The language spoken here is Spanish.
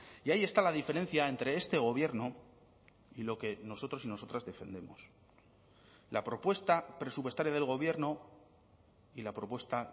y ahí está la diferencia entre este gobierno y lo que nosotros y nosotras defendemos la propuesta presupuestaria del gobierno y la propuesta